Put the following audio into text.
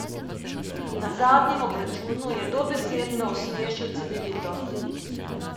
Na zadnjem obračunu je dobesedno osmešil Cedevito.